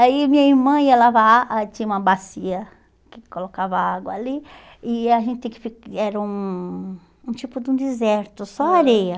Aí minha irmã ia lavar, aí tinha uma bacia que colocava água ali, e a gente tinha que fi e era um um tipo de um deserto, só areia.